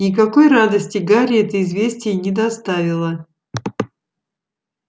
никакой радости гарри это известие не доставило